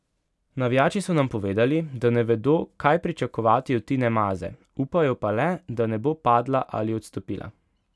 Navijači so nam povedali, da ne vedo, kaj pričakovati od Tine Maze, upajo pa le, da ne bo padla ali odstopila.